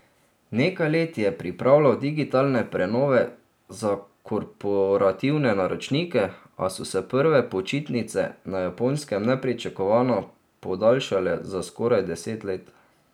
Nekaj let je pripravljal digitalne prenove za korporativne naročnike, a so se prve počitnice na Japonskem nepričakovano podaljšale za skoraj deset let.